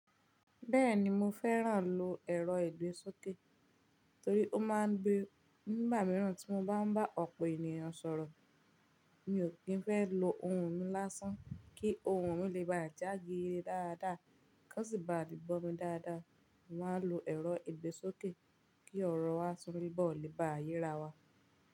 Bẹ́ẹ̀ni mo fẹ́ràn lò ẹ̀rọ ìgbésókè, torí nígbà mìíràn tí mo bá ń bá ọ̀pọ̀ ènìyàn sọ̀rọ̀. Mi ò kí ń fẹ́ lò ohùn mi lásán kí ohùn mi lè bá já gere dáadáa. Kái wọn sì bá le gbọ́ mi dáadáa, mo màá lò ẹ̀rọ ìgbésókè kí ọ̀rọ̀ wa tún bọ̀ lè bá yé ra wa.